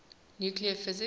nuclear physics